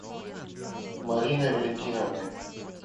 мариной валентиновной